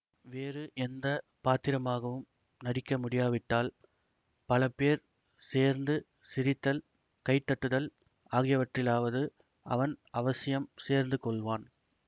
வேறு எந்த பாத்திரமாகவும் நடிக்க முடியாவிட்டால் பல பேர் சேர்ந்து சிரித்தல் கை தட்டுதல் ஆகியவற்றிலாவது அவன் அவசியம் சேர்ந்து கொள்வான்